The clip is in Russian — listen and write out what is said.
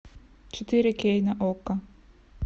четыре кей на окко